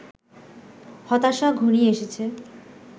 হতাশা ঘনিয়ে এসেছে